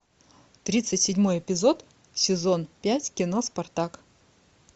тридцать седьмой эпизод сезон пять кино спартак